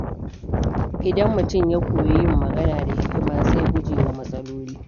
Idan mutum ya koyi yin magana da hikima, zai guje wa matsaloli.